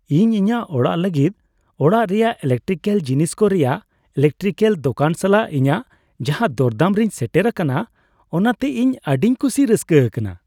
ᱤᱧ ᱤᱧᱟᱹᱜ ᱚᱲᱟᱜ ᱞᱟᱹᱜᱤᱫ ᱚᱲᱟᱜ ᱨᱮᱭᱟᱜ ᱤᱞᱮᱠᱴᱤᱠᱮᱹᱞ ᱡᱤᱱᱤᱥ ᱠᱚ ᱨᱮᱭᱟᱜ ᱤᱞᱮᱠᱴᱨᱤᱠᱮᱹᱞ ᱫᱳᱠᱟᱱ ᱥᱟᱞᱟᱜ ᱤᱧᱟᱹᱜ ᱡᱟᱦᱟᱸ ᱫᱚᱨᱫᱟᱢ ᱨᱤᱧ ᱥᱮᱴᱮᱨ ᱟᱠᱟᱱᱟ, ᱚᱱᱟᱛᱮ ᱤᱧ ᱟᱹᱰᱤᱧ ᱠᱩᱥᱤ ᱨᱟᱹᱥᱠᱟᱹ ᱟᱠᱟᱱᱟ ᱾